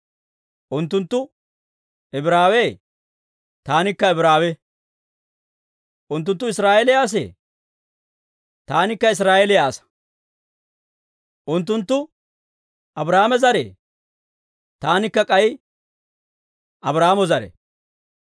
Unttunttu Ibraawee? Taanikka Ibraawe. Unttunttu Israa'eeliyaa asee? Taanikka Israa'eeliyaa asaa. Unttunttu Abraahaame zare? Taanikka k'ay Abraahaama zare.